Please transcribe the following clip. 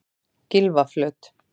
Gylfaflöt